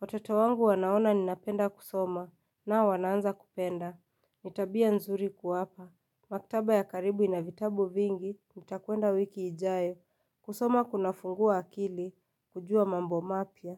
watoto wangu wanaona ninapenda kusoma, nao wanaanza kupenda, nitabia nzuri kuwapa Maktaba ya karibu ina vitabu vingi nitakwenda wiki ijayo kusoma kuna fungua akili kujua mambo mapya.